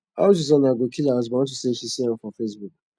how susanna go kill her husband unto say she see am for facebook